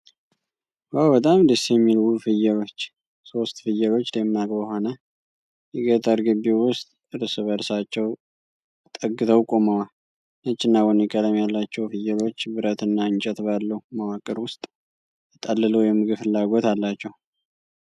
ዋው! በጣም ደስ የሚል ውብ ፍየሎች! ሶስት ፍየሎች ደማቅ በሆነ የገጠር ግቢ ውስጥ እርስ በርሳቸው ተጠግተው ቆመዋል። ነጭና ቡኒ ቀለም ያላቸው ፍየሎች ብረትና እንጨት ባለው መዋቅር ውስጥ ተጠልለው፤ የምግብ ፍላጎት አላቸው።